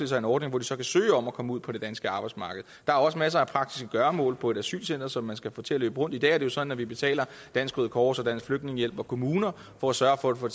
sig en ordning hvor de så kan søge om at komme ud på det danske arbejdsmarked der er også masser af praktiske gøremål på et asylcenter som man skal få til at løbe rundt i dag er det jo sådan at vi betaler dansk røde kors og dansk flygtningehjælp og kommuner for at sørge for at få